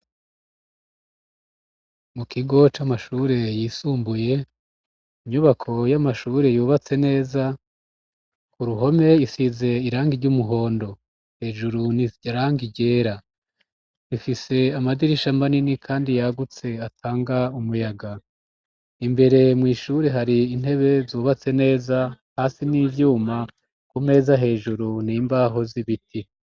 Mu kigo c'amashure yisumbuye, inyubako y'amashure yubatse neza; ku ruhome isize irangi ry'umuhondo. Hejuru ni irangi ryera. Ifise amadirisha manini kandi yagutse, atanga umuyaga. Imbere mw' ishure hari intebe zubatse neza, hasi ni ivyuma, ku meza hejuru ni imbaho z'ibiti.